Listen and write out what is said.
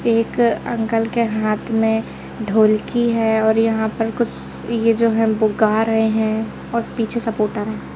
एक अंकल के हाथ में ढोलकी है और यहां पर कुछ ये जो है वो गा रहे हैं और पीछे सपोर्टर है।